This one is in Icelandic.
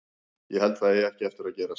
Ég held að það eigi ekki eftir að gerast.